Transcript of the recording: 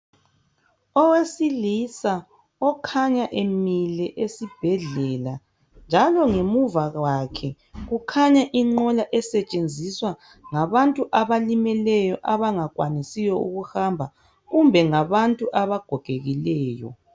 Owesilisa okhanya emile esibhedlela njalo ngemuva kwakhe kukhanya inqola esetshenziswa ngabantu abalimileyo abangakwanisiyo ukuhamba kumbe ngabantu abagogekileyo